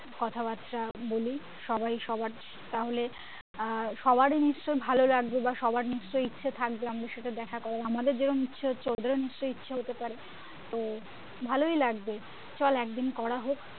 কথাবর্তা বলি সবাই সবার তাহলে আহ সবারই নিশ্চই ভালো লাগবে বা সবার নিশ্চয়ই ইচ্ছে থাকবে আমদের সাথে দেখা আমাদের যেরম ইচ্ছে হচ্ছে ওদের নিশ্চই ইচ্ছে হতে পারে তো ভালই লাগবে চল একদিন করা হোক